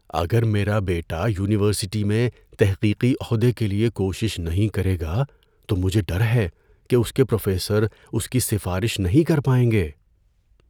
اگر میرا بیٹا یونیورسٹی میں تحقیقی عہدے کے لیے کوشش نہیں کرے گا تو مجھے ڈر ہے کہ اس کے پروفیسر اس کی سفارش نہیں کر پائیں گے۔